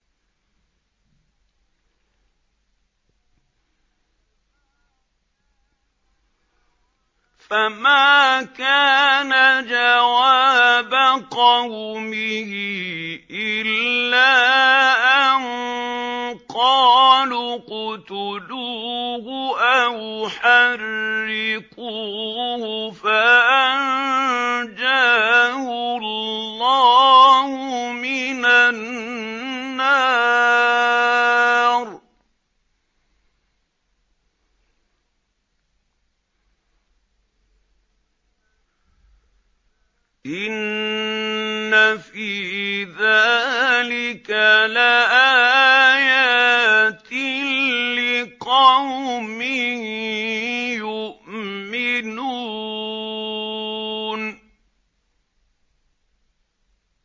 فَمَا كَانَ جَوَابَ قَوْمِهِ إِلَّا أَن قَالُوا اقْتُلُوهُ أَوْ حَرِّقُوهُ فَأَنجَاهُ اللَّهُ مِنَ النَّارِ ۚ إِنَّ فِي ذَٰلِكَ لَآيَاتٍ لِّقَوْمٍ يُؤْمِنُونَ